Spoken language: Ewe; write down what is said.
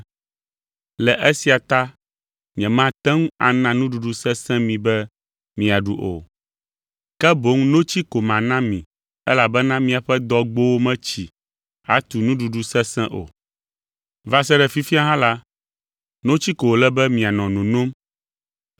Le esia ta nyemate ŋu ana nuɖuɖu sesẽ mi be miaɖu o, ke boŋ notsi ko mana mi elabena miaƒe dɔgbowo metsi atu nuɖuɖu sesẽ o. Va se ɖe fifia hã la, notsi ko wòle be mianɔ nonom